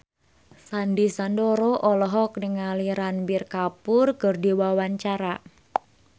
Sandy Sandoro olohok ningali Ranbir Kapoor keur diwawancara